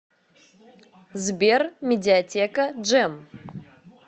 сбер медиатека джем